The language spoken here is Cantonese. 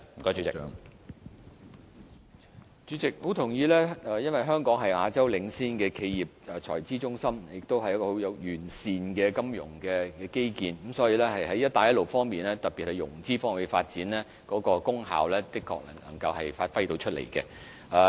主席，我相當認同議員的意見，因為香港是亞洲領先的企業財資中心，也擁有相當完善的金融基建。所以，對於"一帶一路"倡議，特別是其融資方面的發展，香港是可以發揮到功效的。